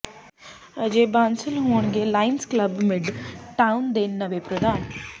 ਅਜੇ ਬਾਂਸਲ ਹੋਣਗੇ Lions Club Midtown ਦੇ ਨਵੇਂ ਪ੍ਰਧਾਨ